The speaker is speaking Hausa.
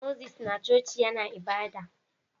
Moses na coci yAna ibada